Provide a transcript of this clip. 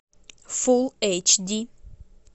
фулл эйч ди